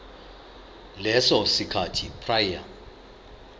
leso sikhathi prior